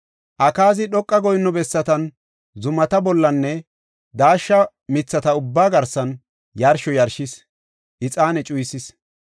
Akaazi dhoqa goyinno bessatan, zumata bollanne daashsha mithata ubbaa garsan yarsho yarshis; ixaane cuyisis.